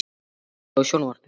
Eberg, kveiktu á sjónvarpinu.